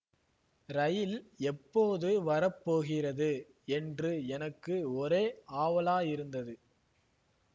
ரயில் எப்போது வர போகிறது என்று எனக்கு ஒரே ஆவலாயிருந்தது